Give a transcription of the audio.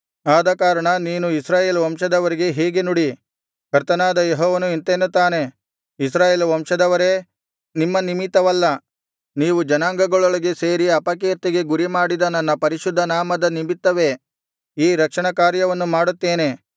ಆದಕಾರಣ ನೀನು ಇಸ್ರಾಯೇಲ್ ವಂಶದವರಿಗೆ ಹೀಗೆ ನುಡಿ ಕರ್ತನಾದ ಯೆಹೋವನು ಇಂತೆನ್ನುತ್ತಾನೆ ಇಸ್ರಾಯೇಲ್ ವಂಶದವರೇ ನಿಮ್ಮ ನಿಮಿತ್ತವಲ್ಲ ನೀವು ಜನಾಂಗಗಳೊಳಗೆ ಸೇರಿ ಅಪಕೀರ್ತಿಗೆ ಗುರಿಮಾಡಿದ ನನ್ನ ಪರಿಶುದ್ಧನಾಮದ ನಿಮಿತ್ತವೇ ಈ ರಕ್ಷಣ ಕಾರ್ಯವನ್ನು ಮಾಡುತ್ತೇನೆ